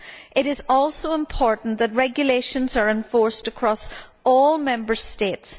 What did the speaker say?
It is also important that regulations are enforced across all Member States.